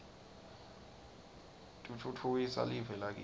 titfutfukisa live lakitsi